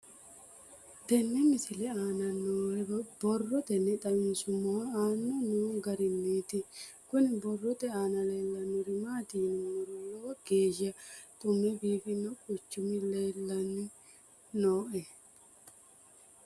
Tenne misile aana noore borroteni xawiseemohu aane noo gariniiti. Kunni borrote aana leelanori maati yiniro lowo geesha xu'mme biifanno quchumi leelanni nooe.